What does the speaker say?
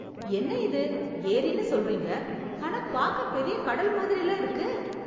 என்ன இது, ஏரின்னு சொல்றீங்க... ஆனா பார்க்க, பெரிய கடல் மாதிரில்ல இருக்கு...!